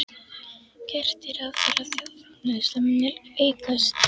Gert er ráð fyrir að þjóðarframleiðsla muni aukast.